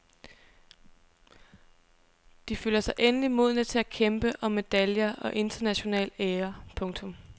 De føler sig endelig modne til at kæmpe om medaljer og international ære. punktum